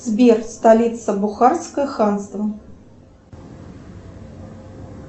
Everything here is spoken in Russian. сбер столица бухарское ханство